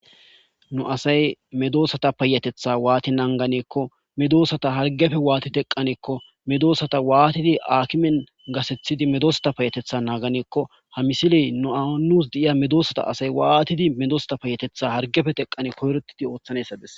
nu asay medoosata payatetha waati nanganeekko medoosata hargefe waati teqaneekko medoosata waatidi aakimen gasethidi medoosata payatetha naaganeekko ha misiley nuaanuus de7iya medoosata asay waatidi medoosata payatetha hargefe teqane kohretidi ooththaneessades